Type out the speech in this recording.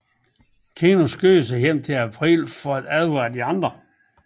Keno skynder sig hjem til April for at advare de andre